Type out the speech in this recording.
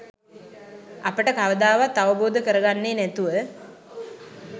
අපට කවදාවත් අවබෝධ කරගන්නේ නැතුව